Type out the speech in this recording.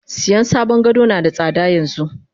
Siyan sabon gado nada tsada yanxu.